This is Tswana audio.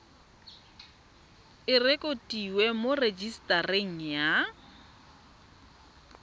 e rekotiwe mo rejisetareng ya